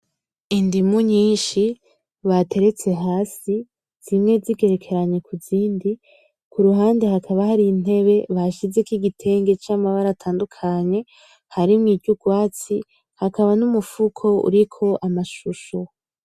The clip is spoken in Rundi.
Idimu nyinshi batereste hasi zimwe zigerekeranye kuzindi, kuruhande hakamba hari intebe bashizeko igitenge camabara atadukanye harimwo y’urwasti hakamba numufuko uriko amashusho.